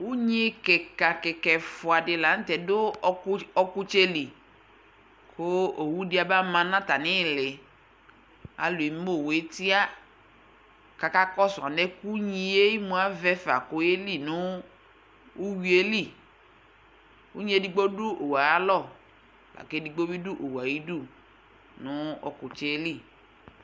Unyi kɩka kɩka ɛfʋa dɩ la nʋ tɛ dʋ ɔkʋ li ɔkʋtsɛ li kʋ owu dɩ abama nʋ atamɩ ɩɩlɩ Alʋ eme owu yɛ tɩa kʋ akakɔsʋ alɛna yɛ unyi emu avɛ fa kʋ ɔyeli nʋ uyui yɛ li Unyi edigbo dʋ owu yɛ ayalɔ la kʋ edigbo bɩ dʋ owu yɛ ayidu nʋ ɔkʋtsɛ yɛ li